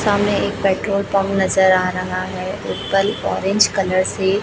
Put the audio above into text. सामने एक petrol pump नजर आ रहा है ऊपर ऑरेंज कलर से--